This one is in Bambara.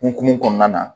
Hokumu kɔnɔna na